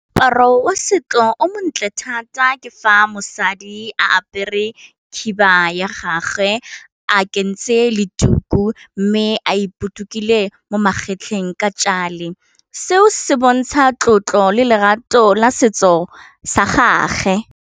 Moaparo wa setso o montle thata ke fa mosadi a apere khiba ya gagwe a kentse le tuku mme a ipotokile mo magetleng ka jale, seo se bontsha tlotlo le lerato la setso sa gage.